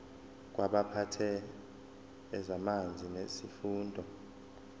kwabaphethe ezamanzi nesifunda